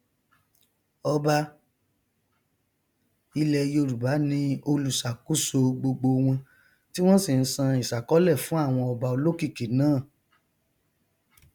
ọba ilẹ yorùbá ni olùṣàkóso gbogbowọn tí wọn sì nsan ìsákọlẹ fún àwọn ọba olókìkí náà